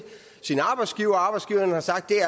sin arbejdsgiver og arbejdsgiveren har sagt at